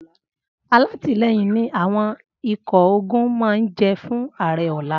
Alátìlẹyìn ni àwọn ikọ̀ ogun máa jẹ́ fún ààrẹ ọ̀la.